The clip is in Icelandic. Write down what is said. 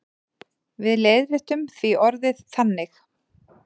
Við leiðréttum því orðið þannig.